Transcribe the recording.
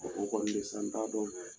O Ko kɔni bɛ yi sisan n t'a dɔn.